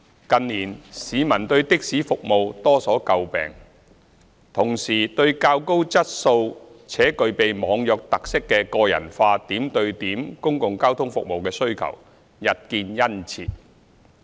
近年市民對的士服務多所詬病，同時對較高質素且具備"網約"特色的個人化點對點公共交通服務的需求日見殷切。